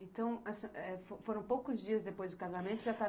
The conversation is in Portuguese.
Então essa, é, fo foram poucos dias depois do casamento e já estava